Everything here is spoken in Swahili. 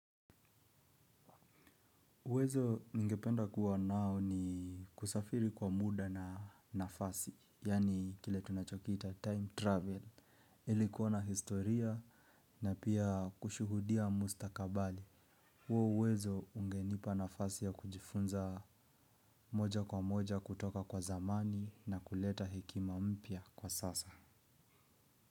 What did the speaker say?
Uwezo nigependa kuwa nao ni kusafiri kwa muda na nafasi, yaani kile tunachokiita time travel, ilikuona historia na pia kushuhudia mustakabali. Uwezo ungenipa nafasi ya kujifunza moja kwa moja kutoka kwa zamani na kuleta hekima mpya kwa sasa.